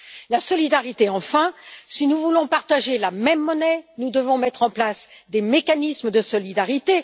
La solidarité, enfin si nous voulons partager la même monnaie, nous devons mettre en place des mécanismes de solidarité.